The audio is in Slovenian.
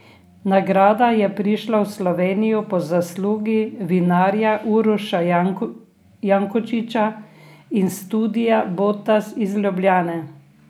Nagrada je prišla v Slovenijo po zaslugi vinarja Uroša Jakončiča in studia Botas iz Ljubljane.